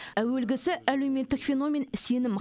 әуелгісі әлеуметтік феномен сенім